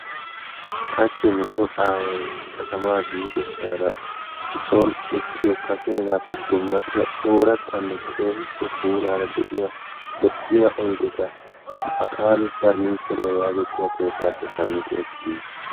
Hachchi nuso aaway katamaa biidosaara son uttiyo kaseegaappe summatiya oorattanne keehippe puulaara de'iya lo"iya oydeta Akaalu parinniichcheriya yaagiya keettaappe shammidi ekkidi yiis.